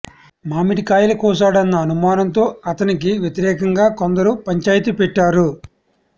మామిడికాయల కోశాడన్న అనుమానంతో అతనికి వ్యతిరేకంగా కొందరు పంచాయితీ పెట్టారు